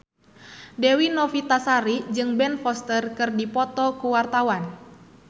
Dewi Novitasari jeung Ben Foster keur dipoto ku wartawan